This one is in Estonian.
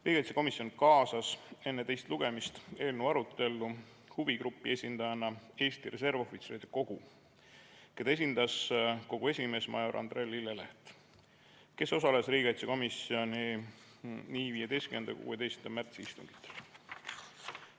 Riigikaitsekomisjon kaasas enne teist lugemist eelnõu arutellu huvigrupi esindajana Eesti Reservohvitseride Kogu, keda esindas kogu esimees major Andre Lilleleht, kes osales nii 15. kui 16. märtsi istungil.